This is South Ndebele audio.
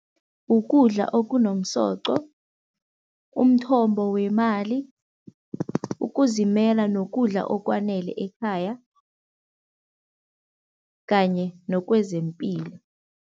Ukudla okunomsoqo, umthombo wemali, ukuzimela nokudla okwanele ekhaya kanye nokwezempilo.